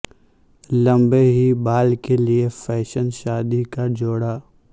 لمبے ہی بال کے لئے فیشن شادی کا جوڑا